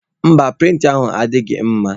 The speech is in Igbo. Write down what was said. Mba, prịnta ahụ adịghị mma.